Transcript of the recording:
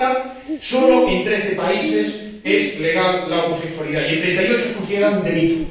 En África, sólo en 13 países es legal la homosexualidad y en 38 es considerada un delito.